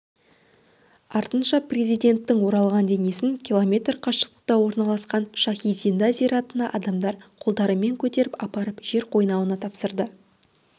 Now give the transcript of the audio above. артынша президенттің оралған денесін км қашықтықта орналасқан шахи-зинда зиратына адамдар қолдарымен көтеріп апарып жер қойнауына тапсырды